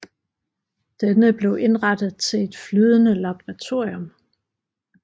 Denne blev indrettet til et flydende laboratorium